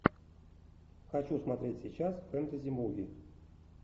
хочу смотреть сейчас фэнтези муви